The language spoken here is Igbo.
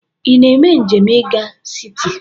Ị na-eme njem i ga siti?